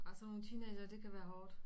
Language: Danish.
Nej sådan nogle teenagere det kan være hårdt